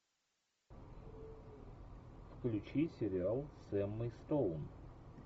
включи сериал с эммой стоун